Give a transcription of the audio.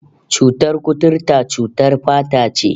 Cutar kuturta cutar fata ce